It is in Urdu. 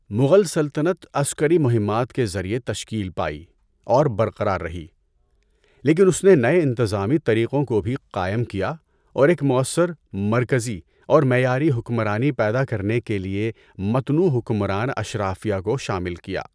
مغل سلطنت عسکری مہمات کے ذریعے تشکیل پائی اور برقرار رہی لیکن اس نے نئے انتظامی طریقوں کو بھی قائم کیا اور ایک مؤثر، مرکزی اور معیاری حکمرانی پیدا کرنے کے لیے متنوع حکمران اشرافیہ کو شامل کیا۔